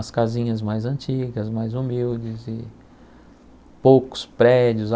As casinhas mais antigas, mais humildes e poucos prédios.